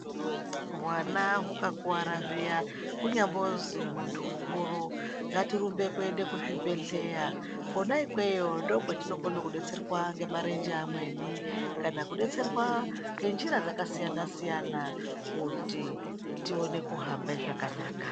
Hwana hukakuwara zviya kunyambozi munhu mukuru ngatirumbe kuende kuzvibhehleya kona ikweyo ndiko kwatinokone kudetserwa ngemarenje amweni kana kudetserwa ngenjira dzakasiyanasiyana kuti tione kuhamba zvakanaka.